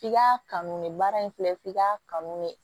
F'i ka kanu de baara in filɛ i ka kanu de